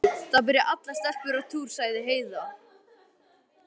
Nei, það byrja allar stelpur á túr, sagði Heiða.